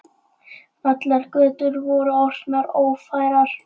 Allar götur voru orðnar ófærar.